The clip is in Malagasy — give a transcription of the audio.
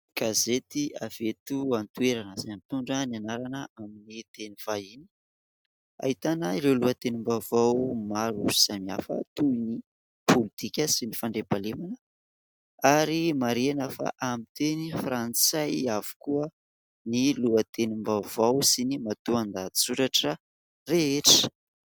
Gazety avy eto an-toerana izay mitondra ny anarana amin'ny teny vahiny. Ahitana ireo lohatenim-baovao maro samihafa toy ny politika sy ny fandriampahalemana ary marihina fa amin'ny teny frantsay avokoa ny lohatenim-baovao sy ny matoan-dahatsoratra rehetra.